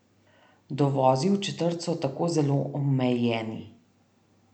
Dovozi v četrt so tako zelo omejeni.